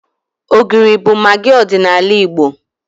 Ogiri bụ magị ọdịnala Igbo.